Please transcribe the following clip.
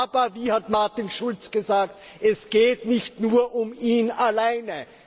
Aber, wie hat Martin Schulz gesagt Es geht nicht nur um ihn alleine.